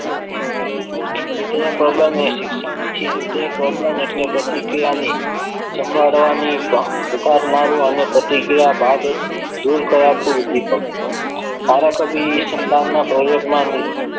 વિધાયક પ્રબલન ને શિક્ષણથી વિધાયક પ્રબલન એટલે પ્રતિક્રિયાની જમાડવાની ભાવના પુકારનારો અને પ્રતિક્રિયા બાદ દૂર કરાતું ઉદ્દીપક સારા કવિ ઉપ્દીપક ના સંધાનમાં પ્રયોગમાં